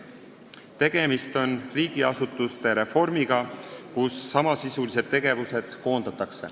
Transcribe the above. Tegemist on riigiasutuste reformiga, kus koondatakse samasisulised tegevused.